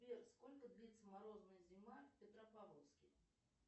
сбер сколько длится морозная зима в петропавловске